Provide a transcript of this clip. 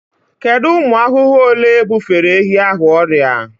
Kedu ụmụ ahụhụ ole bufere ehi ahụ ọrịa?